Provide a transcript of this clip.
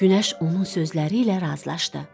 Günəş onun sözləri ilə razılaşdı.